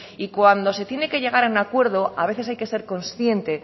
y cuando se tiene que llegar a un acuerdo a veces hay que ser consciente